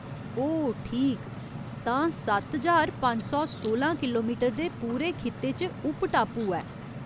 ओह् ठीक! तां सत्त ज्हार पंज सौ सोलां किलोमीटर दे पूरे खित्ते च उपटापू ऐ।